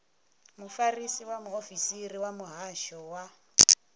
mufarisa muofisiri wa muhasho wa